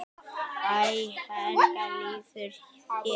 Hæ, hvernig líður þér?